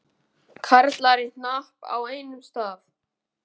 Karlar í hnapp á einum stað.